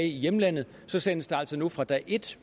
i hjemlandet så sendes der altså nu fra dag et